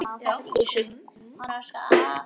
Við verðum bara að hugsa, sagði Gunni.